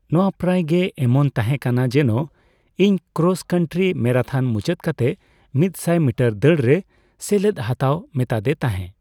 ᱱᱚᱣᱟ ᱯᱨᱟᱭ ᱜᱮ ᱮᱢᱚᱱ ᱛᱟᱦᱮᱸᱠᱟᱱᱟ ᱡᱮᱱᱚ ᱤᱧ ᱠᱨᱚᱥᱼᱠᱟᱱᱴᱤ ᱢᱮᱨᱟᱛᱷᱚᱱ ᱢᱩᱪᱟᱹᱫ ᱠᱟᱛᱮ ᱢᱤᱛᱥᱟᱭ ᱢᱤᱴᱟᱨ ᱫᱟᱹᱲ ᱨᱮ ᱥᱮᱞᱮᱫ ᱦᱟᱛᱟᱣ ᱢᱮᱛᱟᱫᱮ ᱛᱟᱦᱮᱸ ᱾